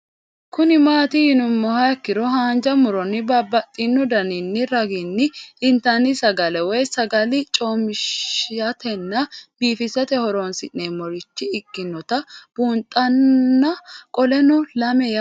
Kuni mati yinumoha ikiro hanja muroni babaxino daninina ragini intani sagale woyi sagali comishatenna bifisate horonsine'morich ikinota bunxana qoleno lame yaate